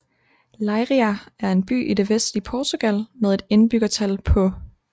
Leiria er en by i det vestlige Portugal med et indbyggertal på